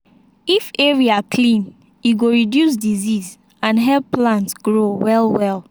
if area clean e go reduce disease and help plant grow well well.